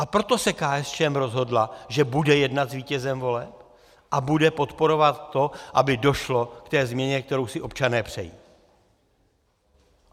A proto se KSČM rozhodla, že bude jednat s vítězem voleb a bude podporovat to, aby došlo k té změně, kterou si občané přejí.